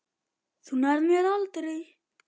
Þú nærð mér aldrei.